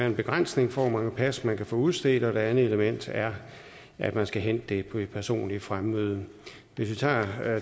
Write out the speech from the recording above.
en begrænsning for hvor mange pas man kan få udstedt og det andet element er at man skal hente det ved personligt fremmøde hvis vi tager